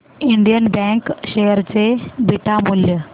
Indian bank share चे beta मूल्य